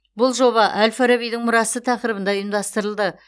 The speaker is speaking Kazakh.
бұл жоба әл фарабидің мұрасы тақырыбында ұйымдастырылды